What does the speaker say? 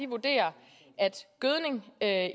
vurderer at